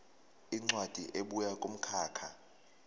incwadi ebuya kumkhakha